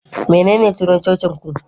Menene sunan cocin ku?